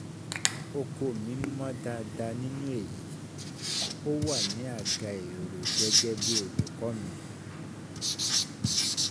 oko mi mọ̀ dáadáa nínú èyí, ó wà ní àga èrò gẹ́gẹ́ bí olùkọ́ mi.